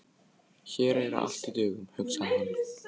Hér er allt í dögun, hugsaði hann.